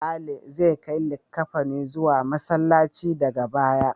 Sale zai kai likkafanin zuwa Masallaci daga baya.